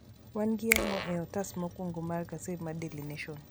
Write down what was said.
Wan gi ang'o ei otas mokwongo mar gaset mar daily nation